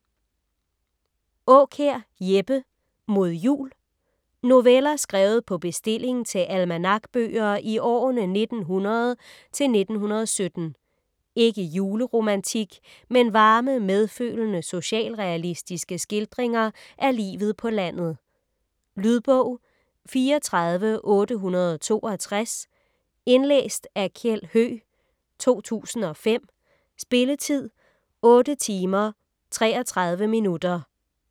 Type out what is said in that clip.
Aakjær, Jeppe: Mod Jul Noveller skrevet på bestilling til almanakbøger i årene 1900 til 1917. Ikke juleromantik, men varme, medfølende socialrealistiske skildringer af livet på landet. Lydbog 34862 Indlæst af Kjeld Høegh, 2005. Spilletid: 8 timer, 33 minutter.